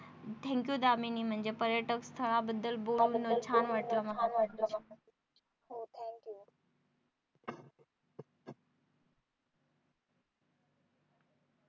Thank you Damini म्हणजे पर्यटक स्थळाळाबद्दल बोलून छान वाटलं मला तुझ्याशी.